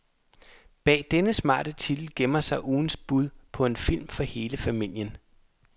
Bag denne smarte titel gemmer sig ugens bud på en film for hele familien.